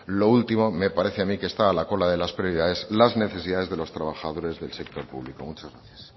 lo último me parece a mí que está a la cola de las prioridades o las necesidades de los trabajadores del sector público muchas gracias